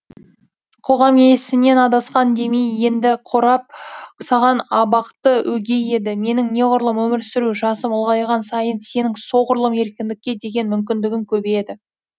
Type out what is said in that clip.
қоғам есінен адасқан демей енді қорап саған абақты өгей еді менің неғұрлым өмір сүру жасым ұлғайған сайын сенің соғұрлым еркіндікке деген мүмкіндігің көбейеді